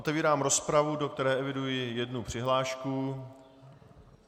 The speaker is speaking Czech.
Otevírám rozpravu, do které eviduji jednu přihlášku.